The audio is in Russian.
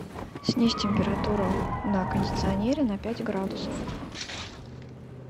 снизь температуру на кондиционере на пять градусов